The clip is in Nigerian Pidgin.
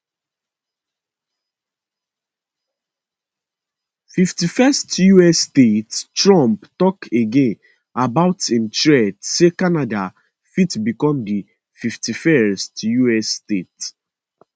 fifty first us statetrump tok again about im threat say canada fit become di fifty first us state